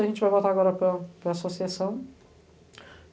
A gente vai voltar agora para a para a associação.